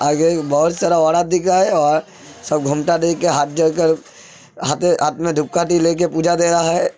आगे बहोत सारा औरत दिख रहा है और सब घूमता देख के हाथ जोड़ के पूजा दे रहा है।